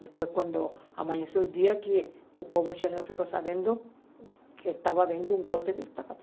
Depois, quando amanheceu o dia, o povo chileno ficou sabendo que estava havendo um golpe de Estado.